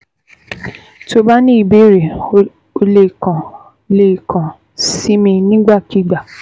Tó o bá ní ìbéèrè, o lè kàn lè kàn sí mi nígbàkigbà